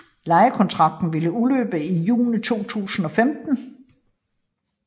Lejekontrakten ville udløbe i juni 2015